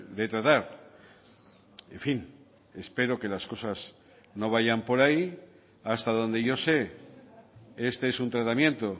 de tratar en fin espero que las cosas no vayan por ahí hasta donde yo sé este es un tratamiento